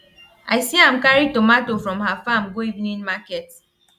i see am carry tomato from her farm go evening market